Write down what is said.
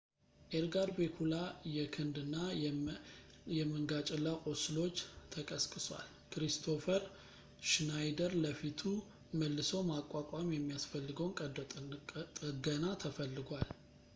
ኤድጋር ቬጉላ የክንድ እና የመንገጭላ ቁስሎች ተቀስቅሷል ኪሪስቶፈር ሽናይደር ለፊቱ መልሶ ማቋቋም የሚያስፈልገውን ቀዶ ጥገና ተፈልጓል